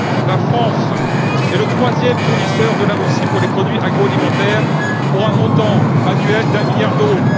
La France est le troisième fournisseur de la Russie pour les produits agro alimentaires, pour un montant annuel d'un milliard d'euros.